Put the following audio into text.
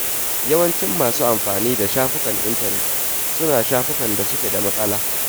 Yawancin masu amfani da shafukan intanet suna shafukan da suke da matsala.